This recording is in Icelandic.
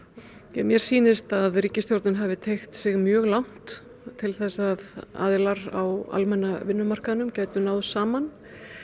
mér sýnist ríkisstjórnin hafa teygt sig mjög langt til þess að aðilar á almenna vinnmarkaðnum gætu náð saman